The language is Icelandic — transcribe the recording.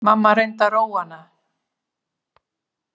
Mamma reyndi að róa hana.